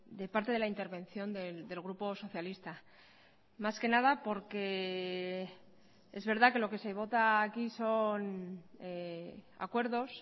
de parte de la intervención del grupo socialista más que nada porque es verdad que lo que se vota aquí son acuerdos